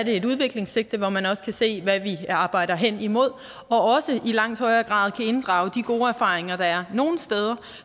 et udviklingssigte hvor man også skal se hvad vi arbejder hen imod og også i langt højere grad kan inddrage de gode erfaringer der er nogle steder